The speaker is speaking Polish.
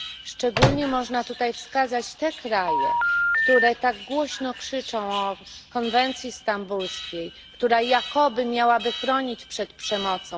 Szczególnie można tutaj wskazać te kraje, które tak głośno krzyczą o konwencji stambulskiej, która jakoby miała chronić przed przemocą.